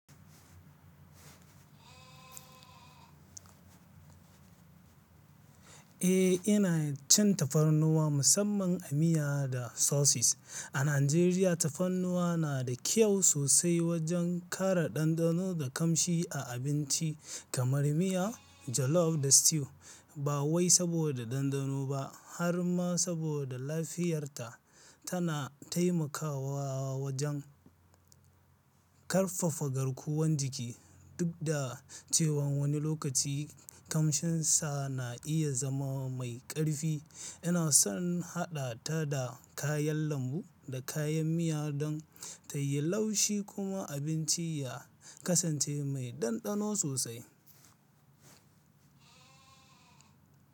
Eh, ina cin tafarnuwa musamman a miya da sauces. A Najeriya, tafarnuwa na da kyau sosai wajen kare ɗanɗano da kamshi a abinci kamar miya, jollof da stew. Ba wai saboda ɗanɗano ba, har ma saboda lafiyarta. Tana taimakawa wajen ƙarfafa garkuwan jiki. Duk da cewan wani lokaci kamshinsa na iya zama mai ƙarfi, ina son haɗa ta da kayan lambu da kayan miya don ta yi laushi kuma abinci ya kasance mai ɗanɗano sosai.